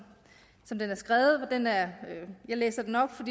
den er skrevet jeg læser den op for